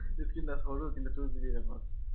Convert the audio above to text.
screentouch সৰু কিন্তু two GB ram ৰ